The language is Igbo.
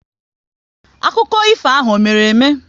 Akụkọ ifo ahụ ọ mere eme?